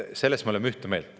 Selles me oleme ühte meelt.